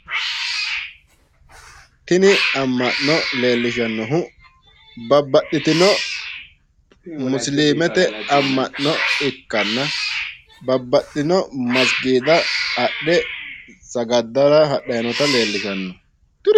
tini ama'no leelishshannohu babaxitino musilimite ama'no ikkanna babbaxxino masgiida hadhe sagaddara hadhyi noota leellishshanno.